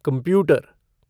computer